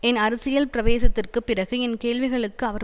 என் அரசியல் பிரவேசத்திற்குப் பிறகு என் கேள்விகளுக்கு அவர்